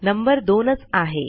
number 2च आहे